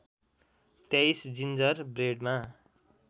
२३ ginger ब्रेडमा